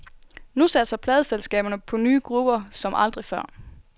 Nu satser pladeselskaberne på nye grupper som aldrig før.